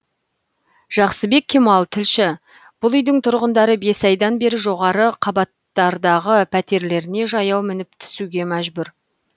жақсыбек кемал тілші бұл үйдің тұрғындары бес айдан бері жоғары қабаттардағы пәтерлеріне жаяу мініп түсуге мәжбүр